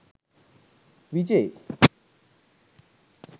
vijay